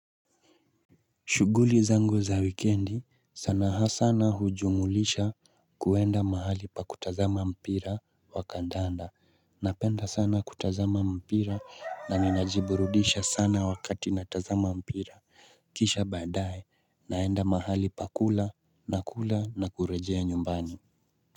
Shughuli zangu za wikendi sana ha sana hujumulisha kuwenda mahali pa kutazama mpira wa kandanda. Napenda sana kutazama mpira na ninajiburudisha sana wakati natazama mpira. Kisha baadae naenda mahali pakula na kula na kurejea nyumbani.